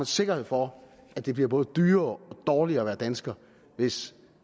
sikkerhed for at det bliver både dyrere og dårligere at være dansker hvis